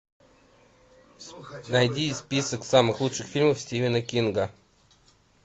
найди список самых лучших фильмов стивена кинга